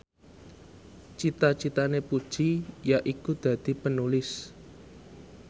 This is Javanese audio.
cita citane Puji yaiku dadi Penulis